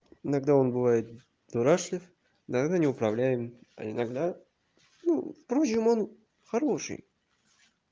иногда он бывает дурашлив иногда неуправляемый а иногда ну впрочем он хороший